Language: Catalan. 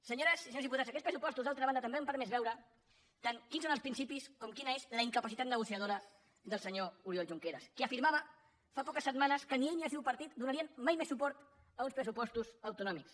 senyores i senyors diputats aquests pressupostos d’altra banda també han permès veure tant quins són els principis com quina és la incapacitat negociadora del senyor oriol junqueras que afirmava fa poques setmanes que ni ell ni el seu partit donarien mai més suport a uns pressupostos autonòmics